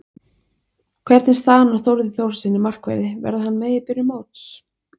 Hvernig er staðan á Þórði Þórðarsyni markverði, verður hann með í byrjun móts?